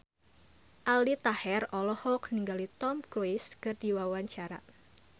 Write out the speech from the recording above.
Aldi Taher olohok ningali Tom Cruise keur diwawancara